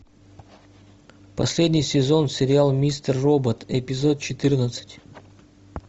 последний сезон сериал мистер робот эпизод четырнадцать